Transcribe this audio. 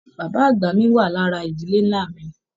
Bàbá àgbà mí wá lára ìdílé nlá mí.